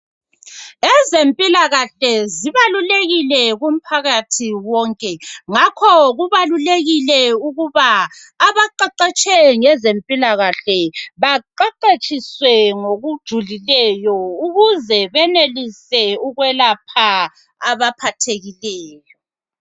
Ezempilakahle zibalulekile kumphakathi wonke. Ngakho kubalulekile ukuba abaqeqetshe ngezempilakahle baqeqetshiswe ngokujulileyo ukuze benelise ukwelapha abaphathekileyo.